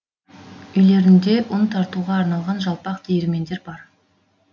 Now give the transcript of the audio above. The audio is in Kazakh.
үйлерде ұн тартуға арналған жалпақ диірмендер бар